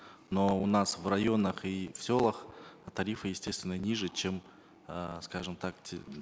но у нас в районах и в селах тарифы естественно ниже чем э скажем так те